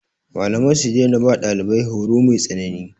Malamai su daina ba ɗalibai horo mai tsanani.